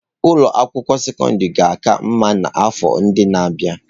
Ụlọ akwụkwọ sekọndrị ga-aka mma n'afọ ndị na-abịa.